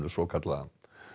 svokallaða